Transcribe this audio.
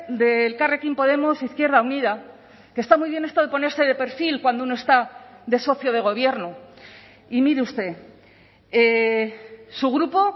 de elkarrekin podemos izquierda unida que está muy bien esto de ponerse de perfil cuando uno está de socio de gobierno y mire usted su grupo